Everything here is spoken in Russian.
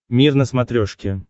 мир на смотрешке